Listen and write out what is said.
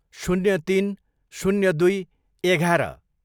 शून्य तिन, शून्य दुई, एघार